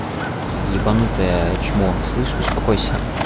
и ебанутое чмо слышишь успокойся